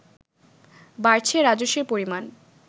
বাড়ছে রাজস্বের পরিমাণ